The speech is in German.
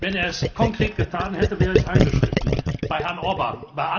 Wenn er es konkret getan hätte, wäre ich eingeschritten bei Herrn Orbán!